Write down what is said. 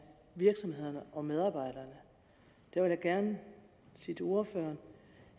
virksomhederne og medarbejderne jeg vil gerne sige til ordføreren